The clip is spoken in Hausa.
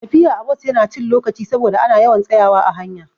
Tafiya a bus Yana cin lokaci saboda ana yawan tsayawa a hanya